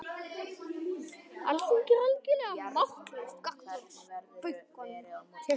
Alþingi er algjörlega máttlaust gagnvart bönkunum